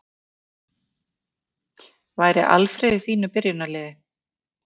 Væri Alfreð í þínu byrjunarliði?